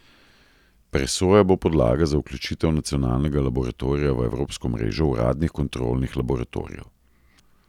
Presoja bo podlaga za vključitev nacionalnega laboratorija v evropsko mrežo uradnih kontrolnih laboratorijev.